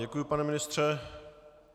Děkuji, pane ministře.